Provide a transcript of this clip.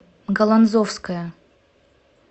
галанзовская